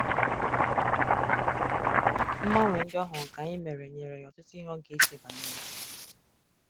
Mgbanwe ndị ọ hụrụ ka anyị mere nyere ya ọtụtụ ihe ọ ga-eche banyere.